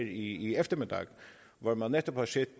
i eftermiddag hvor man netop har set